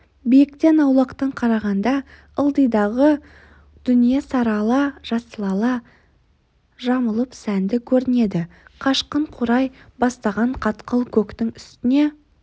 биіктен аулақтан қарағанда ылдидағы дүние сарыала жасылала жамылып сәнді көрінеді қашқын қурай бастаған қатқыл көктің үстіне